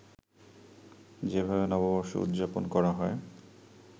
যেভাবে নববর্ষ উদযাপন করা হয়